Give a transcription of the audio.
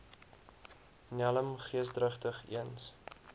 nelm geesdrigtig eens